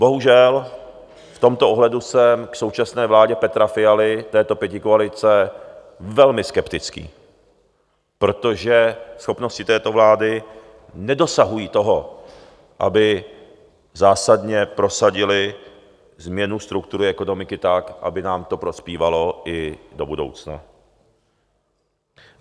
Bohužel, v tomto ohledu jsem k současné vládě Petra Fialy, této pětikoalice, velmi skeptický, protože schopnosti této vlády nedosahují toho, aby zásadně prosadily změnu struktury ekonomiky tak, aby nám to prospívalo i do budoucna.